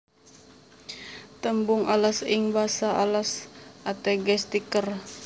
Tembung alas ing basa Alas ateges tiker